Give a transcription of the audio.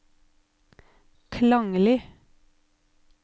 klanglig